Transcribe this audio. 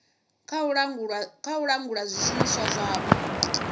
kha u langula zwishumiswa zwavho